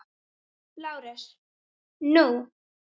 LÁRUS: Nú?